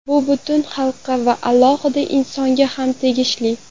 Bu butun xalqqa va alohida insonga ham tegishli.